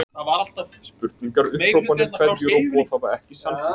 Spurningar, upphrópanir, kveðjur og boð hafa ekki sanngildi.